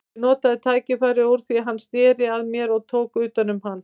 Ég notaði tækifærið úr því hann sneri að mér og tók utan um hann.